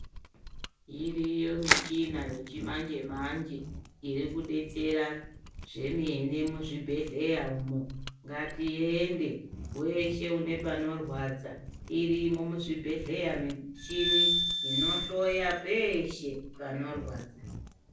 Iriyo michina yechimanje manje iri kudetsera zvemene muzvibhedhleya umu. Ngatiende, weshe une panorwadza irimo muzvibhedhleya michini inohloya peshe panorwadza.